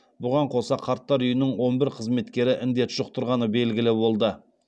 бұған қоса қарттар үйінің он бір қызметкері індет жұқтырғаны белгілі болды